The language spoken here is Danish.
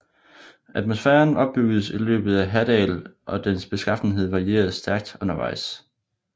Atmosfæren opbyggedes i løbet af Hadal og dens beskaffenhed varierede stærkt undervejs